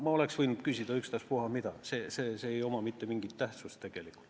Ma oleks võinud küsida ükstaspuha mida, see lause ei omanud mitte mingit tähtsust.